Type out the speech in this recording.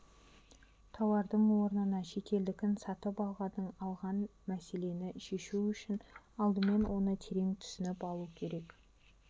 тауардың орнына шетелдікін сатып алғаның алған мәселені шешу үшін алдымен оны терең түсініп алу керек